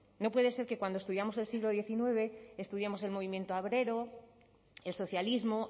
no puede ser que cuando estudiamos el siglo diecinueve estudiamos el movimiento obrero el socialismo